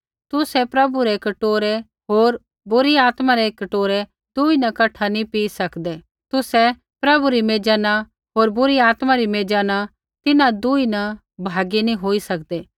तुसै प्रभु रै कटोरै होर बुरी आत्मा रै कटोरै दुई न कठै नी पिई सकदे तुसै प्रभु री मेजा न होर बुरी आत्मा री मेजा न तिन्हां दुई न भागी नी होई सकदे